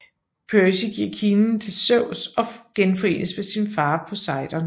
Percy giver kilen til Zeus og genforenes med sin far Poseidon